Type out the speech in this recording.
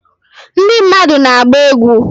Ndị mmadụ na-agba egwu